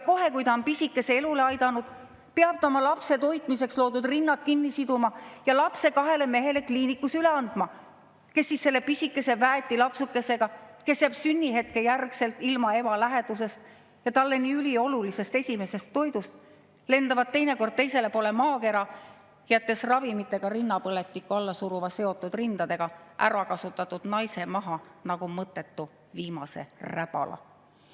Kohe, kui ta on pisikese elule aidanud, peab ta oma lapse toitmiseks loodud rinnad kinni siduma ja lapse kliinikus üle andma kahele mehele, kes siis selle pisikese väeti lapsukesega – see lapsuke jääb sünnihetke järel ilma ema lähedusest ja talle nii üliolulisest esimesest toidust – lendavad teinekord teisele poole maakera, jättes ravimitega rinnapõletikku alla suruva, seotud rindadega, ärakasutatud naise maha nagu viimase mõttetu räbala.